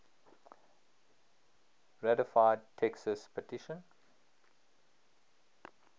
ratified texas petition